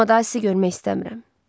Amma daha sizi görmək istəmirəm.